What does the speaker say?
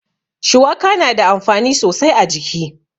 Shuwaka na da amfani sosai a jiki.